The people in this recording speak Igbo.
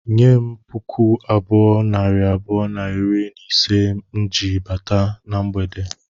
Nye m puku abụọ, nari abụọ na iri na ise m ji bata na mgbede